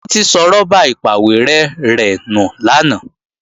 Títí sọ rọ́bà ìpàwérẹ́ rẹ̀ nù lánàá